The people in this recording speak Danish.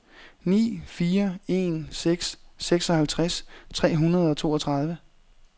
ni fire en seks seksoghalvtreds tre hundrede og toogtredive